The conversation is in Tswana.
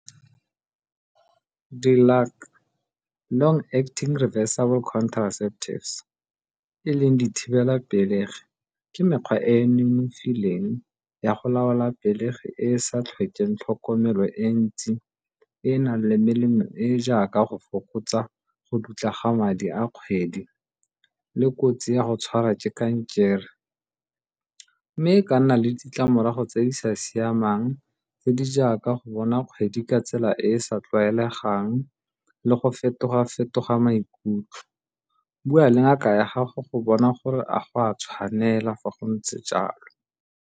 Di acting reversible contraceptives e leng dithibelapelegi ke mekgwa e e nonofileng ya go laola pelegi e e sa tlhokeng tlhokomelo e ntsi e e nang le melemo e e jaaka go fokotsa go dutla ga madi a kgwedi le kotsi ya go tshwara ke kankere. Mme ka nna le ditlamorago tse di sa siamang tse di jaaka go bona kgwedi ka tsela e e sa tlwaelegang le go fetoga-fetoga maikutlo, bua le ngaka ya gago go bona gore a go a tshwanela fa go ntse jalo.